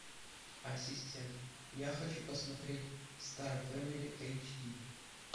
ассистент я хочу посмотреть стар фэмили эйч ди